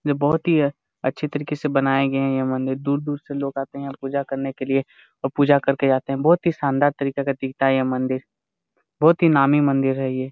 ये बहुत ही अच्छे तरीके से बनाये गए ये मंदिर दूर - दूर से लोग आते हैं यहाँ पूजा करने के लिए और पूजा करके जाते हैं बहुत ही सानदार तरीका का दिखता है ये मंदिर बहुत ही नामी मंदिर है ये।